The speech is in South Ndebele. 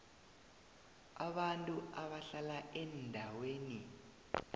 abantu abahlala eendaweni